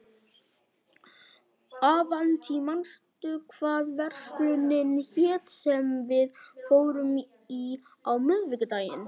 Avantí, manstu hvað verslunin hét sem við fórum í á miðvikudaginn?